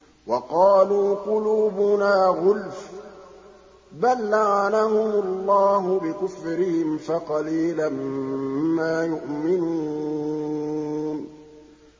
وَقَالُوا قُلُوبُنَا غُلْفٌ ۚ بَل لَّعَنَهُمُ اللَّهُ بِكُفْرِهِمْ فَقَلِيلًا مَّا يُؤْمِنُونَ